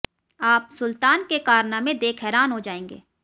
आप सुल्तान के कारनामे देख हैरान हो जाएंगे